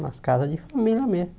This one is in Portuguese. nas casas de família mesmo.